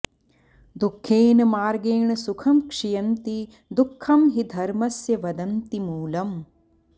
दुःखेन मार्गेण सुखं क्षियन्ति दुःखं हि धर्मस्य वदन्ति मूलम्